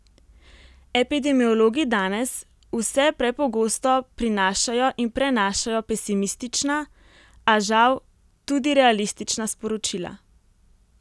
Epidemiologi danes vse prepogosto prinašajo in prenašajo pesimistična, a, žal, tudi realistična sporočila.